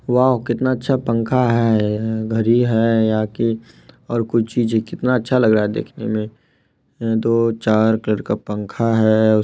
Wow कितना अच्छा पंखा है घड़ी है यह की और कुछ चीजे कितना अच्छा लग रहा है देखने मे दो चार कर का पंखा है।